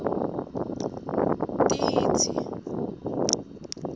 titsi